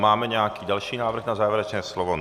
Máme nějaký další návrh na závěrečné slovo?